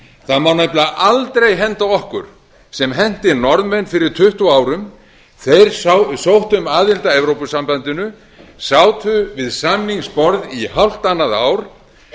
það má nefnilega aldrei henda okkur sem henti norðmenn fyrir tuttugu árum þeir sóttu um aðild að evrópusambandinu sátu við samningsborð í hálft annað ár